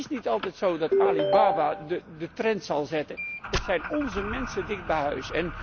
Het is niet altijd zo dat Alibaba de trend zal zetten, het zijn onze mensen dicht bij huis.